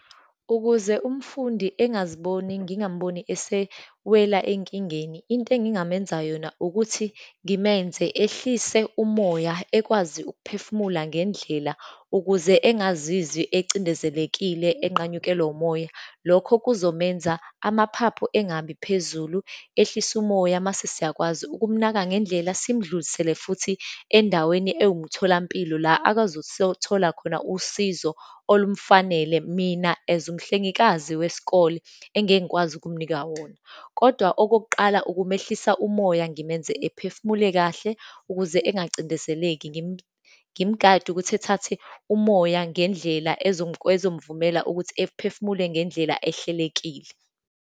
Ukuze umfundi engaziboni, ngingamboni esewela enkingeni, into engingamenza yona ukuthi ngimenze ehlise umoya, ekwazi ukuphefumula ngendlela, ukuze engazizwi acindezelekile enqanyukelwa umoya. Lokho kuzomenza amaphaphu engabiphezulu, ehlise umoya, mase siyakwazi ukumnaka ngendlela, simdlulisele futhi endaweni ewumtholampilo, la akazothola khona usizo olumfanele, mina as umhlengikazi wesikole engekwazi ukumnika wona. Kodwa okokuqala, ukumehlisa umoya, ngimenze ephufumule kahle, ukuze engagcindezeleki, ngimgade ukuthi ethathe umoya ngendlela ezomvumela ukuthi ephefumule ngendlela ehlelekile.